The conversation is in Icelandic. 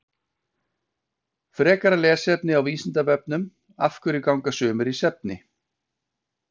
frekara lesefni á vísindavefnum af hverju ganga sumir í svefni